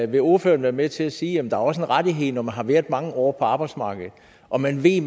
vil ordføreren være med til at sige at der også er en rettighed når man har været mange år på arbejdsmarkedet og man ved